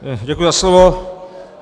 Děkuji za slovo.